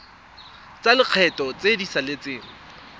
tsa lekgetho tse di saletseng